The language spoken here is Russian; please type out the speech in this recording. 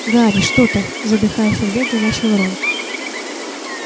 гарри что ты задыхаясь от бега начал рон